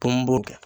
Ko n b'o kɛ